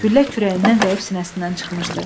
Güllə kürəyindən dəyib sinəsindən çıxmışdı.